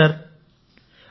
అవును సార్ మరి